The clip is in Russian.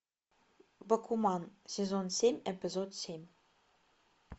бакуман сезон семь эпизод семь